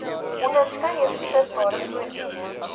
onderskeie beskikbare voordele